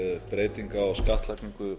breytinga á skattlagningu